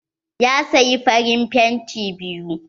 Ya saya farin fenti biyu.